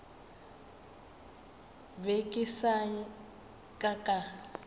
be ke sa ka ka